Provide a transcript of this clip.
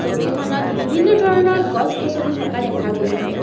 ছবিখনত বিভিন্ন ধৰণৰ গছ গছনি থকা দেখা গৈছে।